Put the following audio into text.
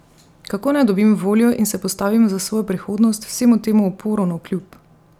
Kako naj dobim voljo in se postavim za svojo prihodnost vsemu temu uporu navkljub?